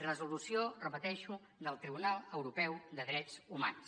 resolució ho repeteixo del tribunal europeu de drets humans